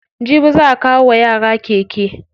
Jibi za'a kawo wa yara keke.